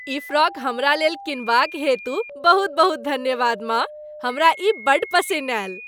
ई frock हमरा लेल किनबाक हेतु बहुत बहुत धन्यवाद, माँ। हमरा ई बड्ड पसिन्न आएल।